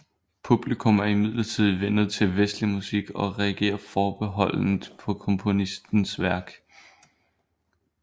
Publikum er imidlertid vænnet til vestlig musik og reagerer forbeholdent på komponistens værk